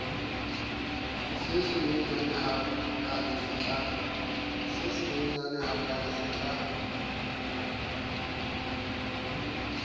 se senyenyane ha kale setla